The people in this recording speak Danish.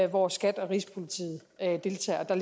hvor skat og rigspolitiet deltager der